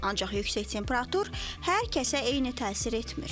Ancaq yüksək temperatur hər kəsə eyni təsir etmir.